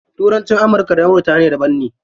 Turanci amurka da birtaniya daban ne.